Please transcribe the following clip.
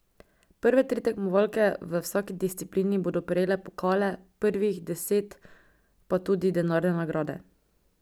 Prve tri tekmovalke v vsaki disciplini bodo prejele pokale, prvih deset pa tudi denarne nagrade.